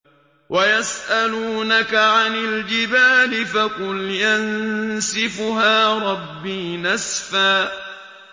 وَيَسْأَلُونَكَ عَنِ الْجِبَالِ فَقُلْ يَنسِفُهَا رَبِّي نَسْفًا